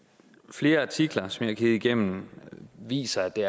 flere artikler som jeg har kigget igennem viser at det